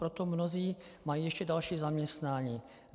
Proto mnozí mají ještě další zaměstnání.